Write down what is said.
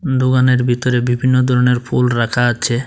দোকানের ভিতরে বিভিন্ন ধরনের ফুল রাখা আছে।